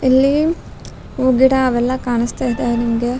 ಇಲ್ಲಿ ಗಿಡ ಅವೆಲ್ಲಾ ಕಾಣ್ಸ್ತಾ ಇದೆ ನಿಮ್ಗೆ .